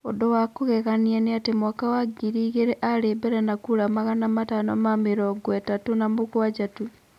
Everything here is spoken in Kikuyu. Ũndũ wa kũgegania nĩ atĩ mwaka wa ngiri igĩrĩ aarĩ mbere na kura magana matano na mĩrongo ĩtatũ na mũgwanja tu.